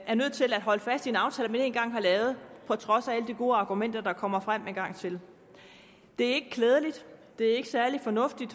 er nødt til at holde fast i en aftale man en gang har lavet på trods af alle de gode argumenter der kommer frem en gang til det er ikke klædeligt det er ikke særlig fornuftigt